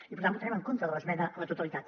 i per tant votarem en contra de l’esmena a la totalitat